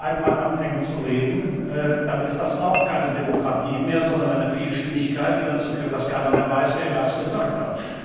Wenn hier jeder einfach anfängt zu reden, dann ist das auch keine Demokratie mehr, sondern eine Vielstimmigkeit, die dazu führt, dass keiner mehr weiß, wer was gesagt hat.